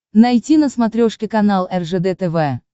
найти на смотрешке канал ржд тв